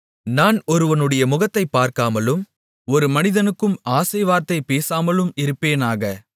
நான் ஒருவனுடைய முகத்தைப் பார்க்காமலும் ஒரு மனிதனுக்கும் ஆசை வார்த்தை பேசாமலும் இருப்பேனாக